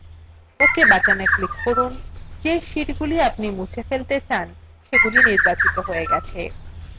ok button click করুন